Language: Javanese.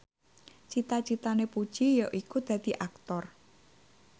cita citane Puji yaiku dadi Aktor